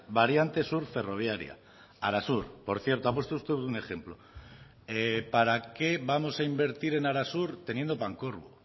variante sur ferroviaria arasur por cierto ha puesto usted un ejemplo para qué vamos a invertir en arasur teniendo pancorbo